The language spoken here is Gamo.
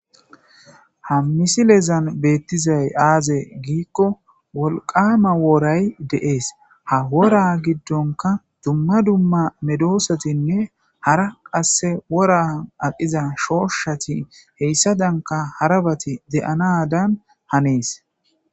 Ha misilezan beettizay aaze giikko wolqama wooray deees ha wora giddonka dumma dumma medoosatinne hara qasse wora aqiza shooshshati heyssa danka harabati de'anadan hanees.